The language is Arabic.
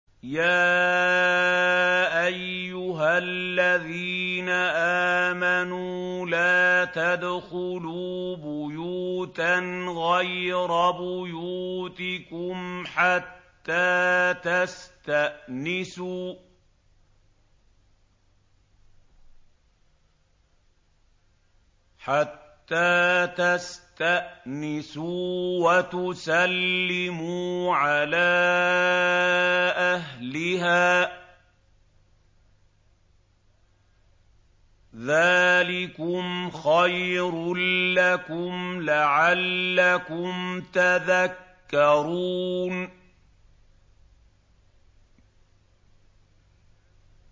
يَا أَيُّهَا الَّذِينَ آمَنُوا لَا تَدْخُلُوا بُيُوتًا غَيْرَ بُيُوتِكُمْ حَتَّىٰ تَسْتَأْنِسُوا وَتُسَلِّمُوا عَلَىٰ أَهْلِهَا ۚ ذَٰلِكُمْ خَيْرٌ لَّكُمْ لَعَلَّكُمْ تَذَكَّرُونَ